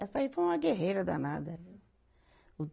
Essa aí foi uma guerreira danada, viu?